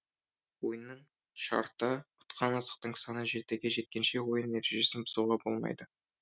ойынның шарты ұтқан асықтың саны жетіге жеткенше ойын ережесін бұзуға болмайды